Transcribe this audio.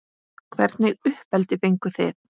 Hvernig uppeldi fenguð þið?